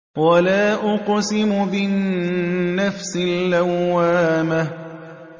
وَلَا أُقْسِمُ بِالنَّفْسِ اللَّوَّامَةِ